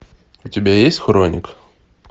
у тебя есть хроник